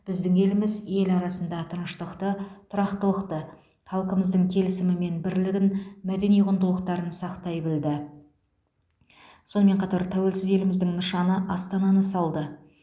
біздің еліміз ел арасында тыныштықты тұрақтылықты халқымыздың келісімі мен бірлігін мәдени құндылықтарын сақтай білді сонымен қатар тәуелсіз еліміздің нышаны астананы салды